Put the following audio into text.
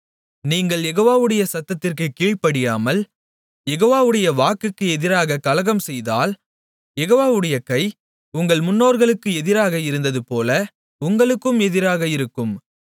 நீங்கள் யெகோவாவுடைய சத்தத்திற்குக் கீழ்ப்படியாமல் யெகோவாவுடைய வாக்குக்கு எதிராக கலகம் செய்தால் யெகோவாவுடைய கை உங்கள் முன்னோர்களுக்கு எதிராக இருந்ததுபோல உங்களுக்கும் எதிராக இருக்கும்